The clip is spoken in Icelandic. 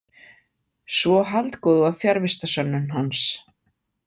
Svo haldgóð var fjarvistarsönnun hans.